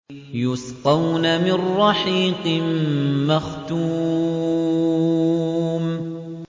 يُسْقَوْنَ مِن رَّحِيقٍ مَّخْتُومٍ